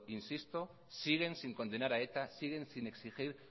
insisto siguen sin condenar a eta siguen sin exigir